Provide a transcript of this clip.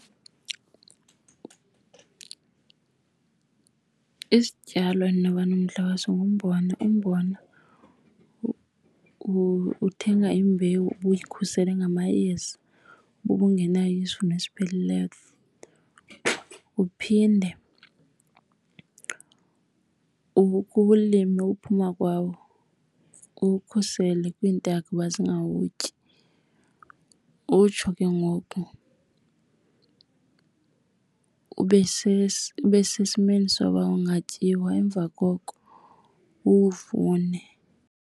Isityalo endinoba nomdla waso ngumbona. Umbona uthenga imbewu ubuyikhusele ngamayeza uba ubungenayo isivuno esipheleleyo. Uphinde uke uwulime, uphuma kwawo uwukhusele kwiintaka uba zingagawutyi, utsho ke ngoku ube , ube sesimeni soba ungatyiwa, emva koko uwuvune.